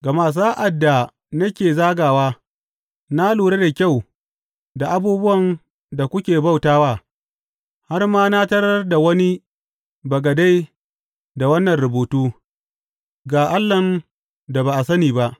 Gama sa’ad da nake zagawa, na lura da kyau da abubuwan da kuke bauta wa, har ma na tarar da wani bagade da wannan rubutu, Ga Allahn da ba a sani ba.